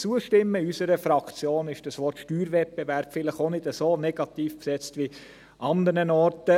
In unserer Fraktion ist das Wort «Steuerwettbewerb» vielleicht auch nicht so negativ besetzt wie an anderen Orten.